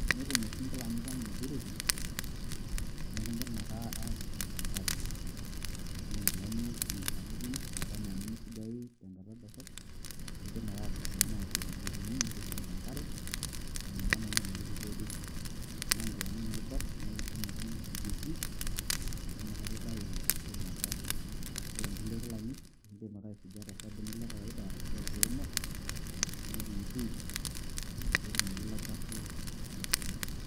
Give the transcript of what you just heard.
Tenetum oshi Ingilani ang' ilduruki, naa miidim ake aatushum tenkare ena enkilani sapuki nemeisujayu tenakata dorrop keidim ake aatushum enaa irbilang'etini nikishum te nkare ometanana ometupuku olduruk, tenaa inkilani naiborr naa akishum ake nikisujie Jiik amu nakata eitau ilo shafu ore Ingulie kilani aikidim ake aisuja to sabunii le kokowoida arashu aa tewomo nikiyutyut peyie etumoki ilo shafu aishunye.